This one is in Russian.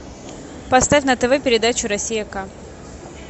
поставь на тв передачу россия к